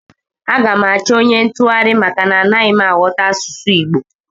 Aga m achọ onye ntụgharị maka na anaghị m aghọta asụsụ Igbo